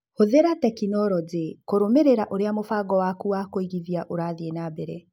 Hũthĩra tekinironjĩ kũrũmĩrĩra ũrĩa mũbango waku wa kũigithia ũrathiĩ na mbere.